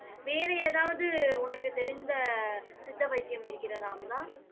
வேறு ஏதாவது உனக்கு தெரிந்த சித்த வைத்தியம் இருக்கிறதா அமுதா